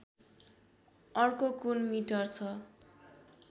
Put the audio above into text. अर्को कुन मिटर छ